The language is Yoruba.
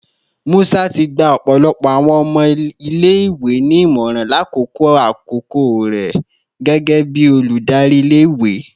Musa ti gba ọpọlọpọ awọn ọmọ ile-iwe ni imọran lakoko akoko rẹ gẹgẹbi oludari ile-iwe